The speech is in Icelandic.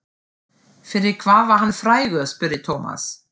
Fyrir hvað var hann frægur? spurði Thomas.